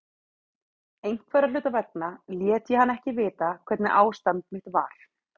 Einhverra hluta vegna lét ég hann ekki vita hvernig ástand mitt var.